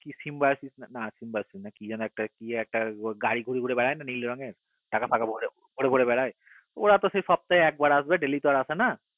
কি যেন একটা গাড়ি গুড়ে গুড়ে বেড়াই তো নীল রঙের গুড়ে গুড়ে বেড়াই গুড়ে গুড়ে বেড়াই ওরা তো সপ্তায় একবার আসবে ডেইলি তো আর আসবে না